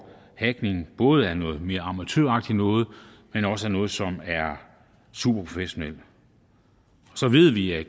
hacking både noget mere amatøragtigt noget men også noget som er super professionelt og så ved vi at